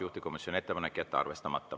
Juhtivkomisjoni seisukoht on jätta arvestamata.